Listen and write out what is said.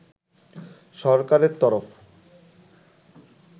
সরকারের তরফ